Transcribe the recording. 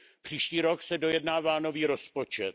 Příští rok se dojednává nový rozpočet.